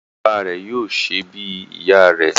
Ìyá bàbá rẹ̀ yóò ṣè bí ìyá rè